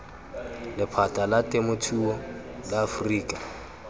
lephata la temothuo la aforika